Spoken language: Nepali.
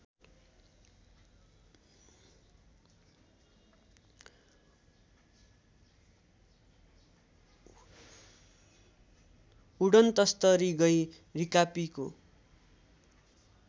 उडनतस्तरी गँइ रिकापीको